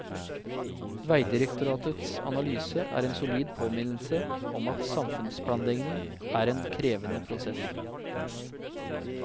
Vegdirektoratets analyse er en solid påminnelse om at samfunnsplanlegning er en krevende prosess.